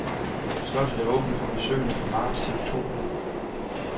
Slottet er åbent for besøgende fra marts til oktober.